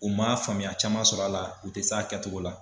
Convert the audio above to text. U man faamuya caman sɔrɔ a la u tɛ se a kɛcogo la.